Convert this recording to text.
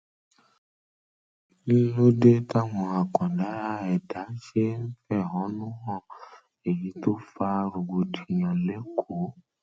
um ló dé táwọn àkàndá ẹdá um ṣe ń fẹhónúhàn èyí tó fa rògbòdìyàn lékòó